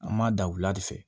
An m'a da wula de fɛ